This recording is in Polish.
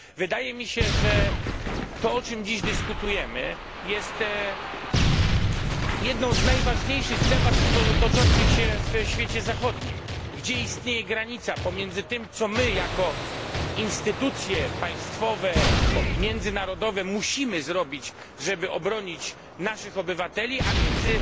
Wydaje mi się, że to, o czym dziś dyskutujemy, jest jedną z najważniejszych debat toczących się w świecie zachodnim. Gdzie istnieje granica pomiędzy tym, co my, jako instytucje państwowe lub międzynarodowe musimy zrobić, żeby obronić naszych obywateli, a między